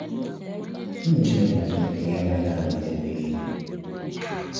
Ụmụ Chineke na Chineke Ya onwe ga anọgide mgbe nịịle.